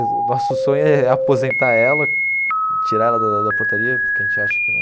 O nosso sonho é aposentar ela, tirar ela da da portaria, porque a gente acha que num...